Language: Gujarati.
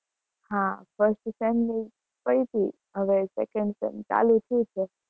હા first sem ની પતી, હવે second sem ચાલુ થયું છે.